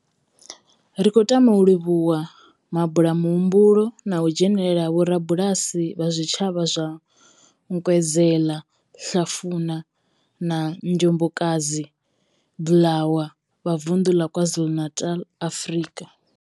Ri khou tama u livhuwa mabulamuhumbulo na u dzhenela ha vhorabulasi vha zwitshavha zwa Nkwezela, Hlafuna na Njobokazi Bulwer vha vunḓu la KwaZulu-Natal, Afrika.